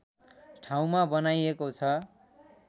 ठाउँमा बनाइएको छ